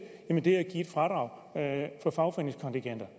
fradrag for fagforeningskontingenter